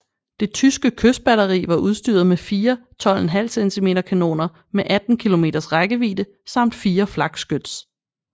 Det tyske kystbatteri var udstyret med fire 12½ cm kanoner med 18 kilometers rækkevidde samt fire flakskyts